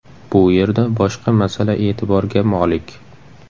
Bu yerda boshqa masala e’tiborga molik.